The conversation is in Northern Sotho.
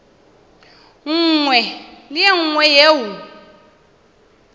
nngwe le ye nngwe yeo